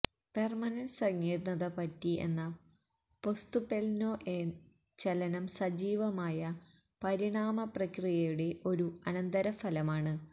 permanent സങ്കീര്ണ്ണത പറ്റി എന്ന പൊസ്തുപെല്നൊഎ ചലനം സജീവമായ പരിണാമ പ്രക്രിയയുടെ ഒരു അനന്തരഫലമാണ്